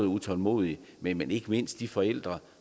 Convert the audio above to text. utålmodig men jo ikke mindst de forældre